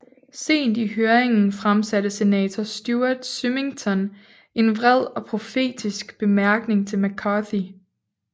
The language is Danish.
Sent i høringerne fremsatte senator Stuart Symington en vred og profetisk bemærkning til McCarthy